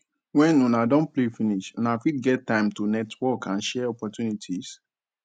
when una don play finish una fit get time to network and share opportunities